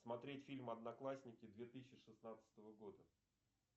смотреть фильм одноклассники две тысячи шестнадцатого года